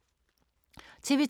TV 2